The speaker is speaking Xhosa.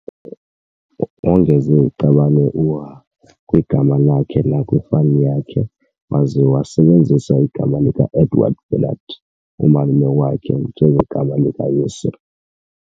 Wongeza iqabane u"H" kwigama lakhe nakwifani yakhe, waza wasebenzisa igama likaEdouard Bernardt, umalume wakhe, njengegama likayise.